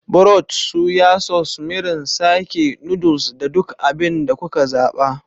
Broth, soya sauce, mirin, sake, noodles, da duk abin da kuka zaɓa.